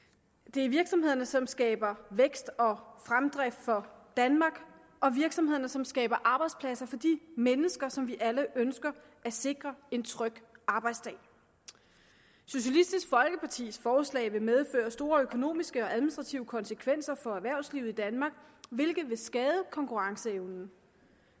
det er virksomhederne som skaber vækst og fremdrift for danmark og virksomhederne som skaber arbejdspladser for de mennesker som vi alle ønsker at sikre en tryg arbejdsdag socialistisk folkepartis forslag vil medføre store økonomiske og administrative konsekvenser for erhvervslivet i danmark hvilket vil skade konkurrenceevnen